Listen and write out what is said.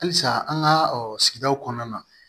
Halisa an ka sigidaw kɔnɔna na